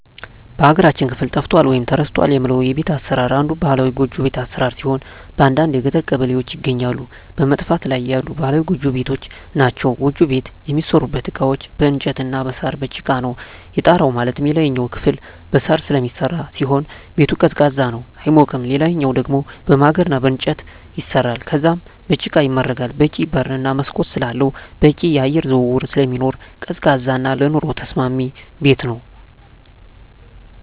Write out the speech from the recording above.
በሀገራችን ክፍል ጠፍቷል ወይም ተረስቷል የምለው የቤት አሰራር አንዱ ባህላዊ ጎጆ ቤት አሰራር ሲሆን በአንዳንድ የገጠር ቀበሌዎች ይገኛሉ በመጥፋት ላይ ያሉ ባህላዊ ጎጆ ቤቶች ናቸዉ። ጎጆ ቤት የሚሠሩበት እቃዎች በእንጨት እና በሳር፣ በጭቃ ነው። የጣራው ማለትም የላይኛው ክፍል በሳር ስለሚሰራ ሲሆን ቤቱ ቀዝቃዛ ነው አይሞቅም ሌላኛው ደሞ በማገር እና በእንጨት ይሰራል ከዛም በጭቃ ይመረጋል በቂ በር እና መስኮት ስላለው በቂ የአየር ዝውውር ስለሚኖር ቀዝቃዛ እና ለኑሮ ተስማሚ ቤት ነው።